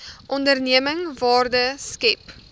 onderneming waarde skep